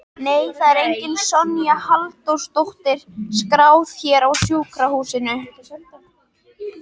Nei, það er engin Sonja Halldórsdóttir skráð hér á sjúkrahúsinu